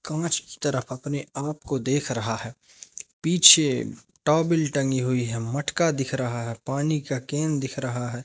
कांच की तरफ अपने आपको देख रहा है पीछे टावेल टंगी हुई है मटका दिख रहा है पानी का केन दिख रहा है।